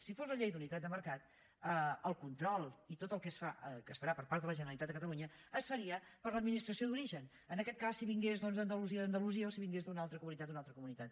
si fos la llei d’unitat de mercat el control i tot el que es farà per part de la generalitat de catalunya es faria per l’administració d’origen en aquest cas si vingués doncs d’andalusia de la d’andalusia o si vingués d’una altra comunitat d’una altra comunitat